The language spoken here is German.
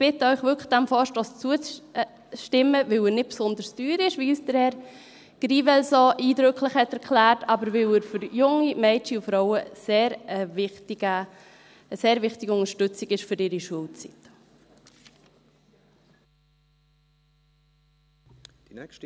Ich bitte Sie wirklich, diesem Vorstoss zuzustimmen, nicht, weil er nicht besonders teuer ist, wie uns Herr Grivel so eindrücklich erklärt hat, aber weil er für junge Mädchen und Frauen eine sehr wichtige Unterstützung für ihre Schulzeit ist.